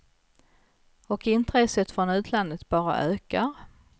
Och intresset från utlandet bara ökar.